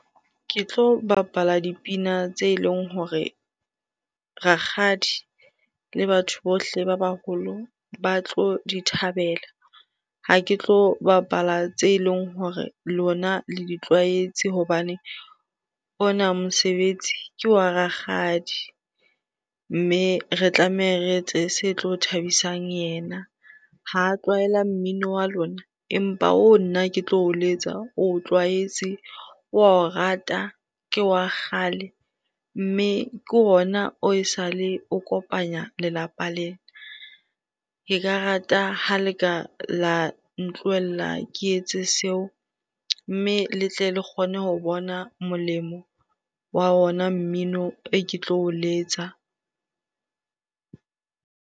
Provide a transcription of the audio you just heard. Ke tlo bapala dipina tse eleng hore rakgadi le batho bohle ba baholo ba tlo di thabela. Ha ke tlo bapala tse eleng hore lona le di tlwaetse hobane ona mosebetsi ke wa rakgadi mme re tlameha re etse se tlo thabisang yena. Ha tlwaela mmino wa lona empa oo nna ke tlo o letsa o tlwaetse, wa o rata, ke wa kgale mme ke ona oo esale o kopanya lelapa lena. Ke ka rata ha leka la ntlohella ke etse seo mme le tle le kgone ho bona molemo wa ona mmino e ke tlo o letsa.